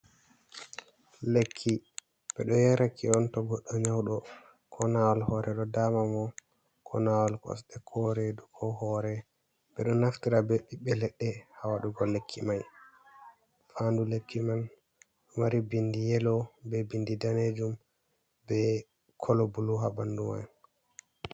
Lekki, ɓe ɗo yaraki on to goɗɗo nyawɗo koo naawol hoore ɗo daama mo, koo naawol kosɗe koo reedu koo hoore. Ɓe ɗo naftira bee ɓiɓɓe leɗɗe haa waɗugo lekki may. Faandu lekki man ɗo mari binndi yelow bee binndi daneejum bee colour blue haa ɓanndu may.